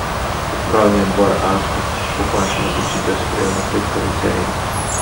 Upravni odbor Aska bo končno odločitev sprejel na petkovi seji.